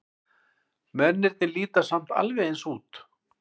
Mennirnir líta samt alveg eins út.